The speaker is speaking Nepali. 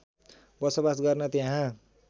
बसोवास गर्न त्यहाँ